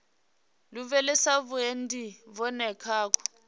lavhelesa vhuendi vhune ha khou